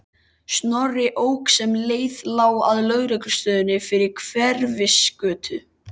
Snorri ók sem leið lá að lögreglustöðinni við Hverfisgötu.